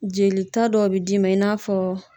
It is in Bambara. Jelita dɔw bi d'i ma i n'a fɔ